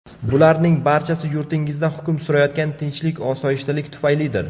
Bularning barchasi yurtingizda hukm surayotgan tinchlik-osoyishtalik tufaylidir.